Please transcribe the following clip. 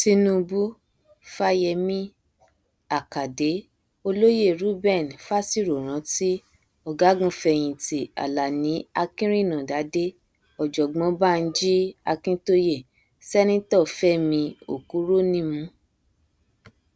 tinubu fáyemí àkàdé olóyè reuben fásiròrántì ọgágunfẹyìntì alani akinrinádádé ọjọgbọn banji akíntóye sẹnitọ fẹmí òkúrònímù